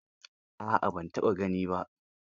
A'a ban taɓa gani ba